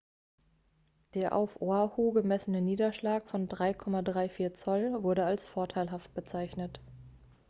der auf oahu gemessene niederschlag von 6,34 zoll wurde als vorteilhaft bezeichnet